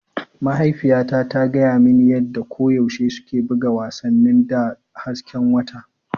Mahaifiyata ta gaya mani yadda koyaushe suke buga wasannin da hasken wata.